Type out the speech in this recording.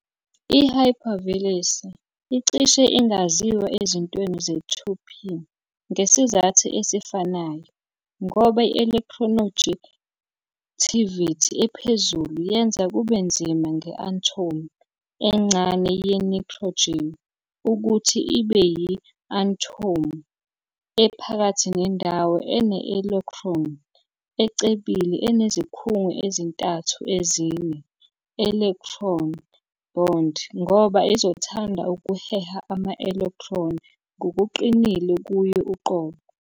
I-Hypervalency icishe ingaziwa ezintweni ze-2p ngesizathu esifanayo, ngoba i-electronegativity ephezulu yenza kube nzima nge-athomu encane ye-nitrogen ukuthi ibe yi-athomu ephakathi nendawo ene-electron ecebile enezikhungo ezintathu ezine-electron bond ngoba izothanda ukuheha ama-electron ngokuqinile kuyo uqobo.